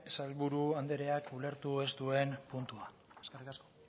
sailburu andreak ulertu ez duen puntua eskerrik asko